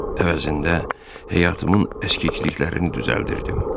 Əvəzində həyatımın əskikliklərini düzəldirdim.